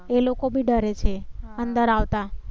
એ લોકો બી ડરે છે અંદર આવતા